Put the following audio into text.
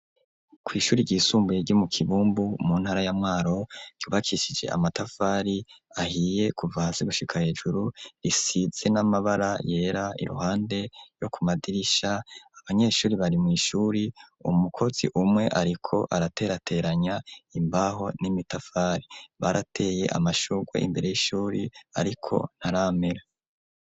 kw'ishure ryisumbuye ryo mu kibumbu mu ntara ya Mwaro ryubakishije amatafari ahiye kuva hasi gushika hejuru risize n'amabara yera iruhande yo ku madirisha ,abanyeshure bari mw'ishure ,umukozi umwe ariko araterateranya imbaho n'imitafari ,barateye amashurwe imbere y'ishure ariko ntaramera.